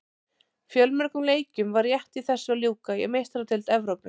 Fjölmörgum leikjum var rétt í þessu að ljúka í Meistaradeild Evrópu.